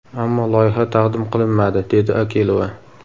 Ammo loyiha taqdim qilinmadi”, – dedi Akilova.